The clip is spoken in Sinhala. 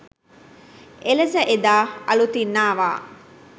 එලෙස එදා අලුතින් ආවා.